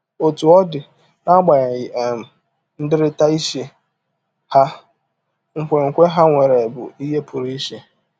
Otú ọ dị, n’agbanyeghị um ndịrịta iche ha, nkwenkwe ha nwere bụ ihe pụrụ iche.